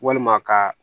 Walima ka